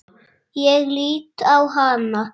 Ég lít á hana.